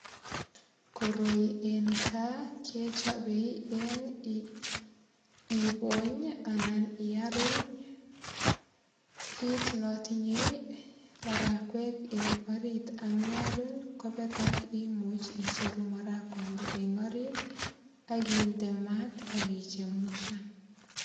Koroi en kaa kechopei en ipony anan iaruny kit notinyei marakwek eng orit ak ndearuny kopek imuch icheru marakwande en orit ak inde mat ak ichemuchan.